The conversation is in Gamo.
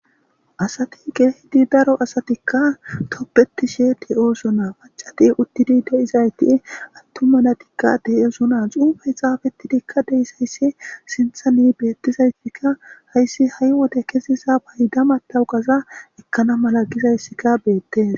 Asati geehidi daro asatikka toppeti sheeti ooso naa pacati uttidi de7izayti attumanatikka de7ezu naa xuufe xaafetidikka deyisayssi sinthani beettizaytikka hayssi ha7i wode kesiza bayda matawuqaza ekkana mala gizayssika beette